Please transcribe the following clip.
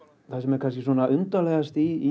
það sem er kannski undarlegast í